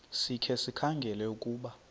sikhe sikhangele ukuba